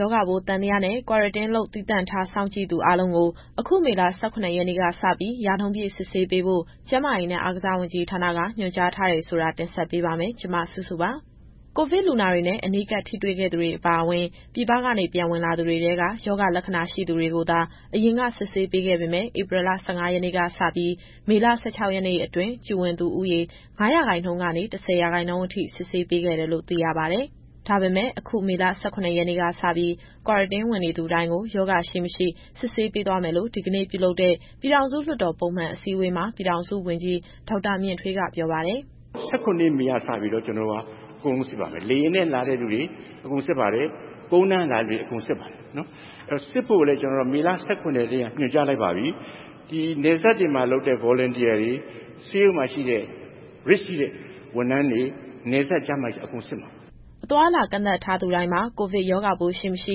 ရောဂါပိုးသံသယနဲ့ Quarantine လုပ် သီးသန့်ထားစောင့်ကြည့်သူအားလုံးကို အခုမေလ ၁၇ ရက်နေ့ကစပြီး ရာနှုန်းပြည့်စစ်ဆေးပေးဖို့ ကျန်းမာရေးနဲ့ အားကစားဝန်ကြီးဌာနက ညွှန်ကြားထားတယ်ဆိုတာကို ဗွီအိုအေမြန်မာပိုင်းသတင်းထောက် မစုစုက တင်ဆက်ပေးပါမယ်။ ကိုဗစ်လူနာတွေနဲ့ အနီးကပ်ထိတွေ့ခဲ့သူတွေအပါအဝင် ပြည်ပကနေ ပြန်ဝင်လာသူတွေထဲက ရောဂါလက္ခဏာရှိသူတွေကိုသာ အရင်က စစ်ဆေးပေးခဲ့ပေမဲ့ ဧပြီလ ၁၅ ရက်နေ့ကစပြီး မေလ ၁၆ ရက်နေ့အတွင်း Q ဝင်သူဦးရေ ၅ ရာခိုင်နှုန်းကနေ ၁၀ ရာခိုင်နှုန်းအထိ စစ်ဆေးပေးခဲ့တယ်လို့ သိရပါတယ်။ ဒါပေမဲ့ အခုမေလ ၁၇ ရက်နေ့ကစပြီး Quarantine ဝင်နေသူတိုင်းကို ရောဂါရှိ၊ မရှိ စစ်ဆေးပေးသွားမယ်လို့ ဒီကနေ့ပြုလုပ်တဲ့ ပြည်ထောင်စုလွှတ်တော် ပုံမှန်အစည်းအဝေးမှာ ပြည်ထောင်စုဝန်ကြီး ဒေါက်တာမြင့်ထွေးက ပြောပါတယ်။ “မေလ ၁၇ ရက်နေ့ကစပြီးတော့ အကုန်လုံးစစ်ပါမယ်။ လေယာဉ်နဲ့ လာတဲ့လူတွေ ကုန်လမ်းက လာတဲ့လူတွေအကုန် စစ်ပါတယ်။ စစ်ဖို့ကိုလည်း မေလ ၁၇ရက်နေ့ကတည်းက ညွှန်ကြားလိုက်ပါပြီ။ ဒီနယ်စပ်တွေမှာလုပ်တဲ့ Volunteer တွေ၊ ဆေးရုံမှာရှိတဲ့ risk ရှိတဲ့ ဝန်ထမ်းတွေ၊ နယ်စပ်ကျန်းမာရေးတွေမှာပါ အကုန်စစ်မှာပါ။” အသွားအလာ ကန့်သတ်ထားသူတိုင်းမှာ ကိုဗစ်ရောဂါပိုးရှိ၊ မရှိ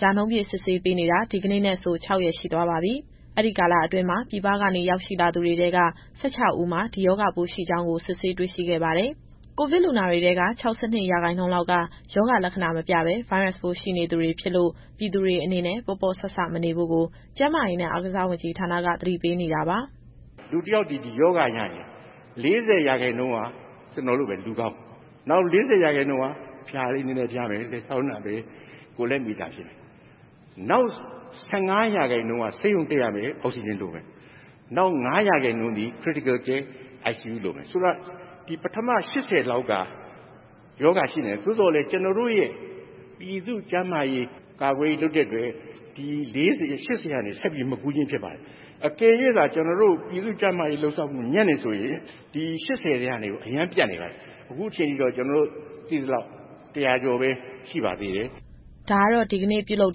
ရာနှုန်းပြည့်စစ်ဆေးပေးနေတာ ဒီကနေ့နဲ့ဆို ၆ ရက်ရှိသွားပါပြီ။ အဲဒီကာလအတွင်းမှာ ပြည်ပကနေ ရောက်ရှိလာသူတွေထဲက ၁၆ ဦးမှာ ဒီရောဂါပိုးရှိကြောင်းကို စစ်ဆေးတွေ့ရှိခဲ့ပါတယ်။ ကိုဗစ်လူနာတွေထဲက ၆၂ ရာခိုင်နှုန်းလောက်က ရောဂါလက္ခဏာ မပြဘဲ ဗိုင်းရပ်စ်ပိုး ရှိနေသူတွေဖြစ်လို့ ပြည်သူတွေအနေနဲ့ ပေါ့ပေါ့ဆဆ မနေဖို့ကို ကျန်းမာရေးနဲ့ အားကစားဝန်ကြီးဌာနက သတိပေးနေတာပါ။ “လူတယောက်သည် ဒီရောဂါရရင် ၄၀ ရာခိုင်နှုန်းက လူကောင်းလိုပဲ။ နောက် ၄၀ ရာခိုင်နှုန်းက အဖျားနည်းနည်းရှိမယ်၊ လည်ချောင်းနာမယ်၊ ကိုယ်လက်မအီမသာဖြစ်မယ်။ နောက် ၁၅ ရာခိုင်နှုန်းက ဆေးရုံတက်ရမယ်၊ အောက်စီဂျင်လိုမယ်။ နောက် ၅ ရာခိုင်နှုန်းသည် Critical Care ICU လိုမယ်။ ဆိုလိုတာ ဒီ ပထမ ၈၀ ရာခိုင်နှုန်းလောက်က ရောဂါရှိသော်လည်း ကျတော်တို့ရဲ့ ပြည်သူ့ကျန်းမာရေး ကာကွယ်ရေးလုပ်တဲ့အတွက် ဒီ ၈၀ ကနေ ဆက်ပြီး မကူးခြင်းဖြစ်ပါတယ်။ အကယ်၍သာ ကျနော်တို့ ပြည်သူ့ကျန်းမာရေးလုပ်ဆောင်မှု ညံ့တယ်ဆိုရင် ဒီ ၈၀ ထဲကနေပြီးတော့ အရမ်းပြန့်နေပါပြီ။ အခုချိန်ထိတော့ ကျနော်တို့သိသလောက် ၁၀၀ ကျော်ပဲ ရှိပါသေးတယ်။” ဒါကတော့ ဒီကနေ့ပြုလုပ်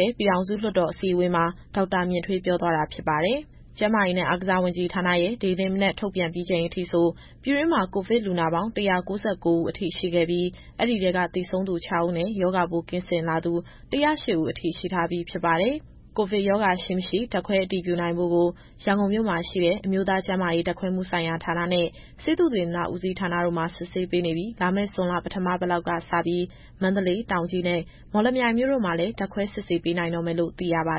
တဲ့ ပြည်ထောင်စုလွှတ်တော် အစည်းအဝေးမှာ ဒေါက်တာမြင့်ထွေးပြောသွားတာ ဖြစ်ပါတယ်။ ကျန်းမာရေးနဲ့ အားကစားဝန်ကြီးဌာနရဲ့ ဒီကနေ့မနက်ထုတ်ပြန်ပြီးချိန်အထိ ပြည်တွင်းမှာ ကိုဗစ်လူနာပေါင်း ၁၉၉ ဦးအထိ ရှိခဲ့ပြီး အဲဒီထဲက သေဆုံးသူ ၆ ဦးနဲ့ ရောဂါပိုးကင်းစင်လာသူ ၁၀၈ ဦးအထိ ရှိထားပြီး ဖြစ်ပါတယ်။ ကိုဗစ်ရောဂါရှိ၊ မရှိဓာတ်ခွဲအတည်ပြုနိုင်ဖို့ကို ရန်ကုန်မြို့မှာရှိတဲ့ အမျိုးသားကျန်းမာရေးဓာတ်ခွဲမှုဆိုင်ရာဌာနနဲ့ ဆေးသုတေသနဦးစီးဌာနတို့မှာ စစ်ဆေးပေးနေပြီး လာမယ့်ဇွန်လပထမပတ်လောက်ကစပြီး မန္တလေး၊ တောင်ကြီးနဲ့ မော်လမြိုင်မြို့တို့မှာလည်း ဓာတ်ခွဲစစ်ဆေးနိုင်တော့မယ်လို့ သိရပါ